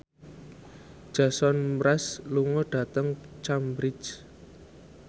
Jason Mraz lunga dhateng Cambridge